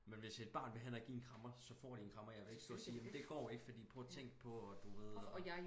Men hvis et barn vil hen og give en krammer så får de en krammer jeg vil ikke stå og sige jamen det går ikke for prøv og tænk på og d uved og